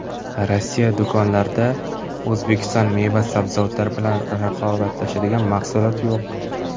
Rossiya do‘konlarida O‘zbekiston meva-sabzavotlari bilan raqobatlashadigan mahsulot yo‘q.